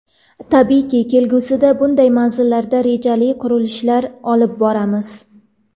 Tabiiyki, kelgusida bunday manzillarda rejali qurilishlar olib boramiz.